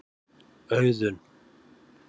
Auðun